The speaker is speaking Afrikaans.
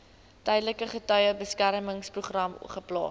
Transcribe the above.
tydelike getuiebeskermingsprogram geplaas